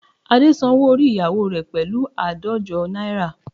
Ade san owó orí ìyáwo rẹ̀ pẹ̀lú àádọ́jọ náírà